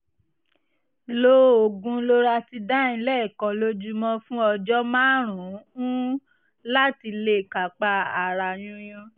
lo oògùn loratadine lẹ́ẹ̀kan lójúmọ́ fún ọjọ́ márùn-ún láti lè kápá ara yúnyún